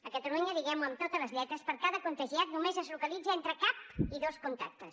a catalunya diguem ho amb totes les lletres per cada contagiat només es localitza entre cap i dos contactes